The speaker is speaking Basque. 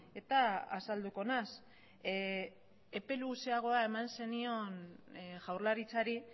eta azalduko naiz epe luzeago eman zenion jaurlaritzari